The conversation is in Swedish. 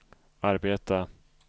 arbeta